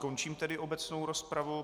Končím tedy obecnou rozpravu.